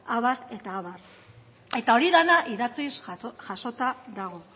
abar eta abar eta hori dena idatziz jasota dago